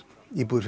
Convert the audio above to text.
íbúðir